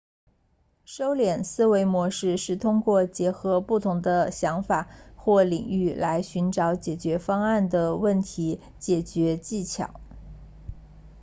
收敛思维模式是通过结合不同的想法或领域来寻找解决方案的问题解决技巧